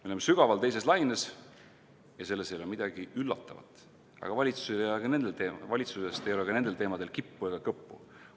Me oleme sügaval teises laines ja selles ei ole midagi üllatavat, aga valitsusest ei ole ka nendel teemadel kippu ega kõppu.